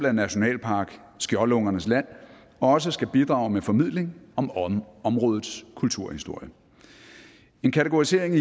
at nationalpark skjoldungernes land også skal bidrage med formidling om om områdets kulturhistorie en kategorisering